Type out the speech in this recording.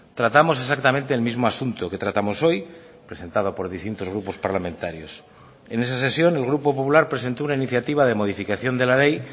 tratamos exactamente el mismo asunto que tratamos hoy presentado por distintos grupos parlamentarios en esa sesión el grupo popular presentó una iniciativa de modificación de la ley